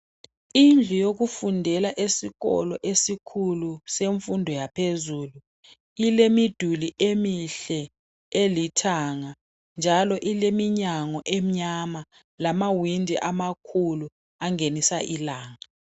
Indlu yokufundela esikolo esikhulu semfundo yaphezulu ilemiduli emihle elithanga njalo ileminyango emnyama lamawindi amakhulu angenisa ilanga.